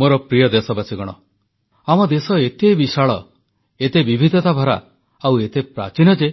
ମୋର ପ୍ରିୟ ଦେଶବାସୀଗଣ ଆମ ଦେଶ ଏତେ ବିଶାଳ ଏତେ ବିବିଧତାଭରା ଆଉ ଏତେ ପ୍ରାଚୀନ ଯେ